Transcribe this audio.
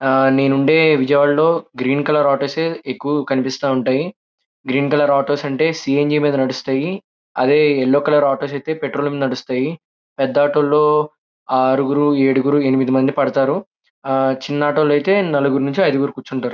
నేను ఉండే చోటులో గ్రీన్ కలర్ అంటోన్ ఎక్కువగా కనిపిస్తున్నాయి. గ్రీన్ కలర్ అంటోన్ సి _యెన్ _జి మీద నడుస్తాయి. అదే యెల్లో కలర్ అంటోన్ ఐతే పెట్రోల్ మీద నడుస్తాయి. పెద్ద ఆటో లో ఆరు ఎనిమిది పడుతారు. ఆహ్ చిన్న ఆటో ఐతే నలుగురు నుండి ఐదుగురు కుంచుటారు --